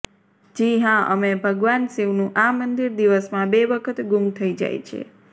જી હાં અમે ભગવાન શિવનું આ મંદિર દિવસમાં બે વખત ગુમ થઇ જાય છે